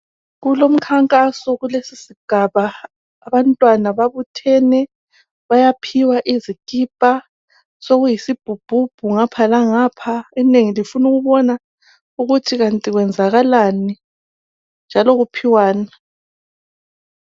Kulomkhankaso kulesi sigaba. Abantwana babuthene bayaphiwa izikipa. Sokuyisibhubhubhu ngapha langapha, inengi lifuna ukubona ukuthi kanti kwenzakalani njalo kuphiwani.